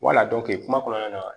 Wala kuma kɔnɔna na